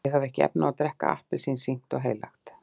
ég hef ekki efni á að drekka appelsín sýknt og heilagt.